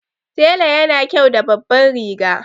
Tela yana kyau da babban riga